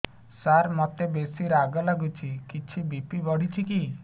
ସାର ମୋତେ ବେସି ରାଗ ଲାଗୁଚି କିଛି ବି.ପି ବଢ଼ିଚି କି